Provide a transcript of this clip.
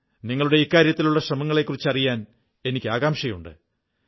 നിങ്ങളുടെ ഇക്കാര്യത്തിലുള്ള ശ്രമങ്ങളെക്കുറിച്ചറിയാൻ എനിക്ക് ആകാംക്ഷയുണ്ട്